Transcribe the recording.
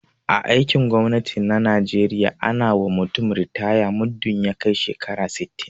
a aikin gwamnati na najeriya ana wa mutum ritaya muddin ya kai shekara sittin